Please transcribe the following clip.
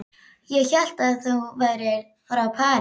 Ég hélt að þú værir frá París